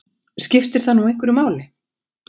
Skiptir það nú einhverju máli?